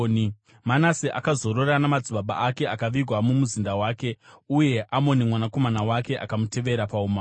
Manase akazorora namadzibaba ake akavigwa mumuzinda wake. Uye Amoni mwanakomana wake akamutevera paumambo.